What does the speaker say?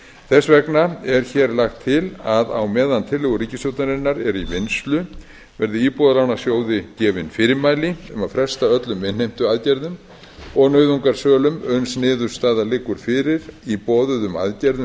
þess vegna er hér lagt til að á meðan tillögur ríkisstjórnarinnar eru í vinnslu verði íbúðalánasjóði gefin fyrirmæli um að fresta öllum innheimtuaðgerðum og nauðungarsölum uns niðurstaða liggur fyrir í boðuðum aðgerðum